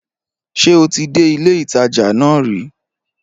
Ṣé o ti dé ilé ìtajà nà ri?